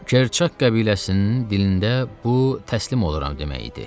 Kerçak qəbiləsinin dilində bu təslim oluram demək idi.